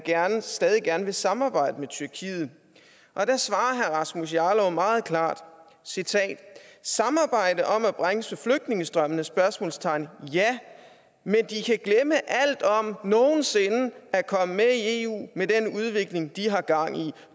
stadig gerne vil samarbejde med tyrkiet og der svarer herre rasmus jarlov meget klart citat samarbejde om at bremse flygtningestrømmen ja men de kan glemme alt om nogen sinde at komme med i eu med den udvikling de har gang i